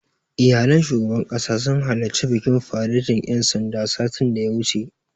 Iyalan shugaban ƙasa sun halarci bikin faretin ƴan sandan, satin da ya wuce.